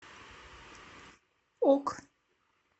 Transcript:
ок